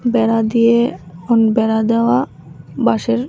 বেড়া দিয়ে উম বেড়া দেওয়া বাঁশের।